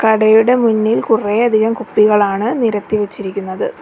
കടയുടെ മുന്നിൽ കുറെയധികം കുപ്പികളാണ് നിരത്തി വെച്ചിരിക്കുന്നത്.